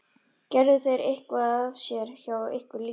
Gerðu þeir eitthvað af sér hjá ykkur líka?